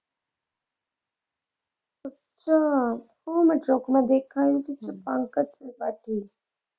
ਤਾਂ ਉਹ ਮੈਂ ਸੁੱਖ ਨਾਲ ਨਾਲ ਦੇਖਾਂਗੀ ਜੋ ਕਿ ਪੰਕਜ ਤ੍ਰਿਪਾਠੀ।